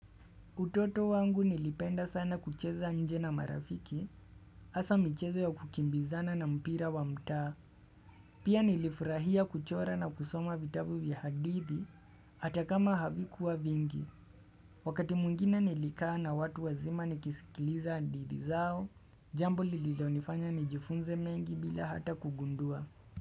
Utoto wangu nilipenda sana kucheza nje na marafiki, hasa michezo ya kukimbizana na mpira wa mtaa, pia nilifurahia kuchora na kusoma vitavu vya hadithi, atakama havi kuwa vingi. Wakati mwingine nilikaa na watu wazima nikisikiliza hadithi zao, jambo lililo nifanya nijifunze mengi bila hata kugundua.